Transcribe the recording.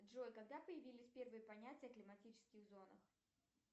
джой когда появились первые понятия о климатических зонах